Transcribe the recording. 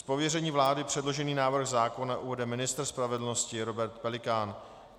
Z pověření vlády předložený návrh zákona uvede ministr spravedlnosti Robert Pelikán.